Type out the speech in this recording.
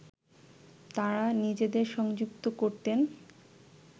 তাঁরা নিজেদের সংযুক্ত করতেন